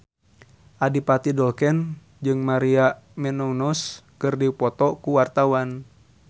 Adipati Dolken jeung Maria Menounos keur dipoto ku wartawan